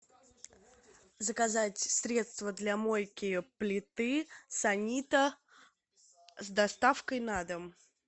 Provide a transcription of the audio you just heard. заказать средство для мойки плиты санита с доставкой на дом